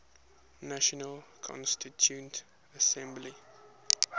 national constituent assembly